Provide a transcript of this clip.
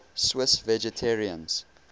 swiss vegetarians